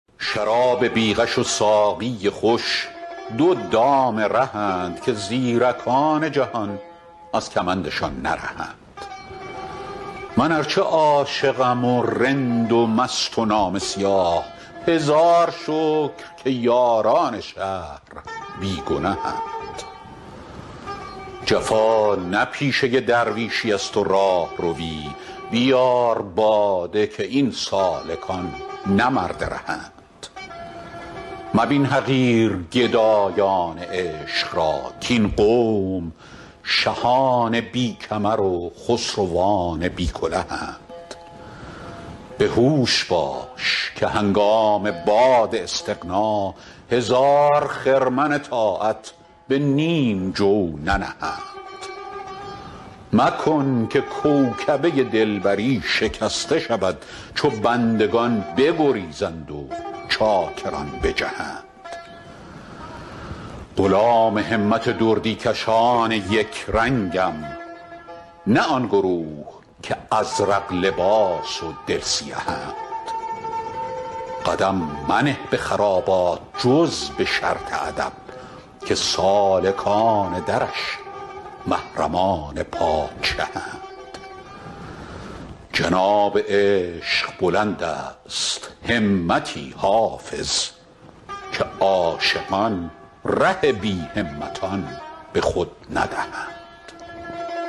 شراب بی غش و ساقی خوش دو دام رهند که زیرکان جهان از کمندشان نرهند من ار چه عاشقم و رند و مست و نامه سیاه هزار شکر که یاران شهر بی گنهند جفا نه پیشه درویشیست و راهروی بیار باده که این سالکان نه مرد رهند مبین حقیر گدایان عشق را کاین قوم شهان بی کمر و خسروان بی کلهند به هوش باش که هنگام باد استغنا هزار خرمن طاعت به نیم جو ننهند مکن که کوکبه دلبری شکسته شود چو بندگان بگریزند و چاکران بجهند غلام همت دردی کشان یک رنگم نه آن گروه که ازرق لباس و دل سیهند قدم منه به خرابات جز به شرط ادب که سالکان درش محرمان پادشهند جناب عشق بلند است همتی حافظ که عاشقان ره بی همتان به خود ندهند